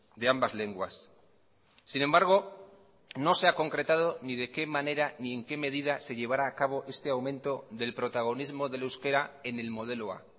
de ambas lenguas sin embargo no se ha concretado ni de qué manera ni en qué medida se llevará a cabo este aumento del protagonismo del euskera en el modelo a